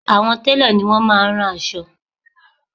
Àwọn télọ̀ ni wọ́n máá ń rán aṣọ